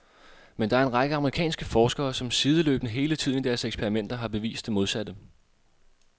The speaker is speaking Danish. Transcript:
Men der er en række amerikanske forskere som sideløbende hele tiden i deres eksperimenter har bevist det modsatte.